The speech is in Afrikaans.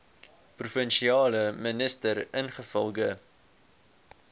provinsiale minister ingevolge